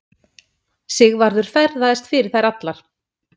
Sigvarður ferðaðist fyrir þær allar.